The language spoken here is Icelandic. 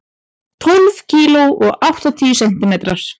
Tólf kíló og áttatíu sentimetrar.